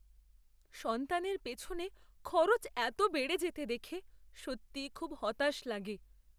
সন্তানের পেছনে খরচ এত বেড়ে যেতে দেখে সত্যিই খুব হতাশ লাগে।